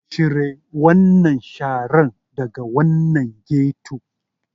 Cire wannan sharar daga wannan ghetto.